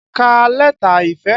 Ká lẹ́tà ìfẹ́!